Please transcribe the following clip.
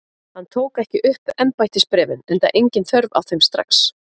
Hann tók ekki upp embættisbréfin enda engin þörf á þeim strax.